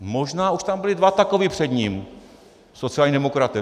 Možná už tam byli dva takoví před ním, sociální demokraté.